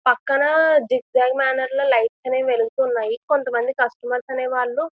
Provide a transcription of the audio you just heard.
పక్కన zigzag manner లో lights అనేవి వెలుగుతున్నాయి కొంత మంది కస్టమర్స్ అనే వాళ్ళు --